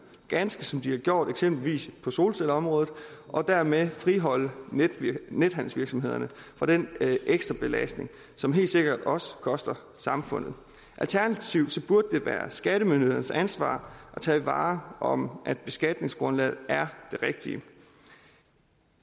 ganske som de har gjort eksempelvis på solcelleområdet og dermed friholde nethandelsvirksomhederne fra den ekstra belastning som helt sikkert også koster samfundet alternativt burde det være skattemyndighedernes ansvar at tage vare om at beskatningsgrundlaget er det rigtige